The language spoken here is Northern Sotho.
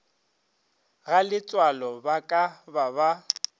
galetsoalo ba ka ba ba